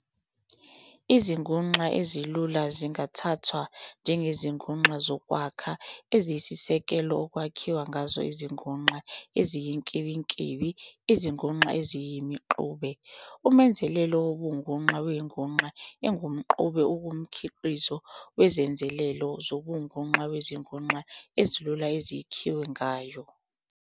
Izinguxa ezilula zingathathwa "njengezinguklu zokwakha" eziyisisekelo okwakhiwe ngazo izinguxa eziyinkimbinkimbi, izinguxa eziyimixube. Umenzelelo wobunguxa wenguxa engumxube ungumkhiqizo wezenzelelo zobunguxa wezinguxa ezilula eyakhiwe ngayo.